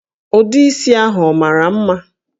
Ụdị isi ahụ ọ mara mma?